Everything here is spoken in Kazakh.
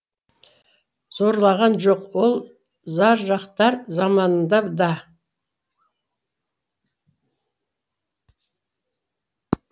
зарлаған жоқ ол заржақтар заманында да